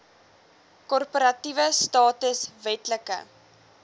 korporatiewe status wetlike